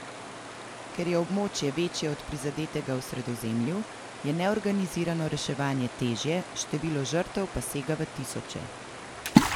Ker je območje večje od prizadetega v Sredozemlju, je neorganizirano reševanje težje, število žrtev pa sega v tisoče.